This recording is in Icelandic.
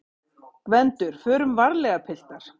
GVENDUR: Förum varlega, piltar!